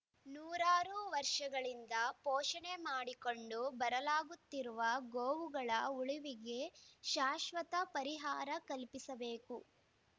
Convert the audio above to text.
ನೂರಾರು ವರ್ಷಗಳಿಂದ ಪೋಷಣೆ ಮಾಡಿಕೊಂಡು ಬರಲಾಗುತ್ತಿರುವ ಗೋವುಗಳ ಉಳುವಿಗೆ ಶಾಶ್ವತ ಪರಿಹಾರ ಕಲ್ಪಿಸಬೇಕು